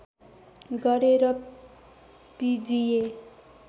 गरे र पिजिए